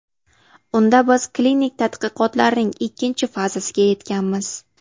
Unda biz klinik tadqiqotlarning ikkinchi fazasiga yetganmiz.